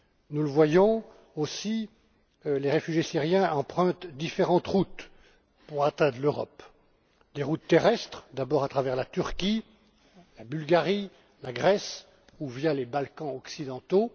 Nous le voyons aussi, les réfugiés syriens empruntent différentes routes pour atteindre l'Europe des routes terrestres d'abord, à travers la Turquie, la Bulgarie, la Grèce ou via les Balkans occidentaux